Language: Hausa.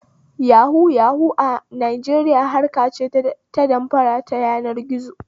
Yahu yahu a Najeriya harkace ta damfara ta yanar gizo